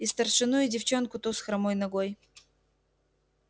и старшину и девчонку ту с хромой ногой